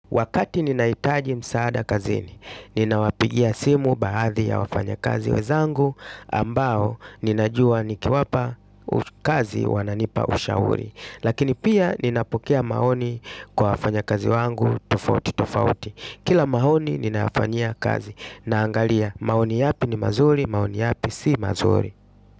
Wakati ninahitaji msaada kazini, ninawapigia simu baadhi ya wafanyakazi wenzangu ambao ninajua nikiwapa. Kazi wananipa ushauri, lakini pia ninapokea maoni kwa wafanyakazi wangu tofauti tofauti. Kila maoni ninayafanyia kazi naangalia maoni yapi ni mazuri, maoni yapi si mazuri.